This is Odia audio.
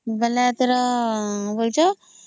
ବେଳେ କିସ ବୋଲାଉଚ